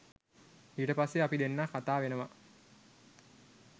ඊට පස්සේ අපි දෙන්නා කතා වෙනවා